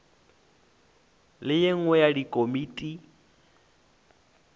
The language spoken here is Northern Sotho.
le ye nngwe ya dikomiti